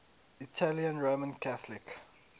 italian roman catholic